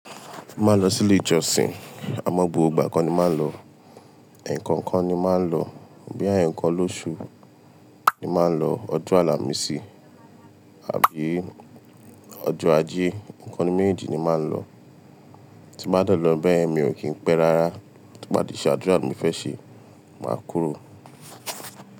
Mo máa n lọ sí ilé ìjọsìn, àmọ́ gbogbo ìgbà ko ni màá ń lọ. Ẹ̀ẹ̀kankan ni màá ń lọ. Bíi ẹ̀ẹ̀kan lóṣù ni màá ń lọ. Ọjọ́ àlàmísì àbí ọjọ́ ajé, nǹkan ninu méjèèjì ni màá ń lọ. Tí n ba de lọ bẹ́ẹ̀ yen mi ò kí pẹ́ rárá, tí n ba tìí ṣe àdúrà ti mi fẹ́ ṣe, màá kúrò.